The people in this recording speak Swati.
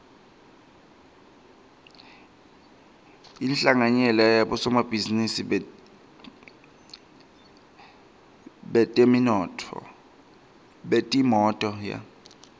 inhlanganyela yabosomabhizinisi betimotolo